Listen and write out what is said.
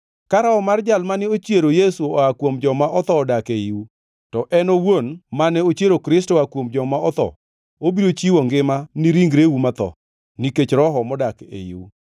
Ka Roho mar Jal mane ochiero Yesu oa kuom joma otho odak eiu, to En owuon mane ochiero Kristo oa kuom joma otho obiro chiwo ngima ni ringreu matho, nikech Roho modak eiu.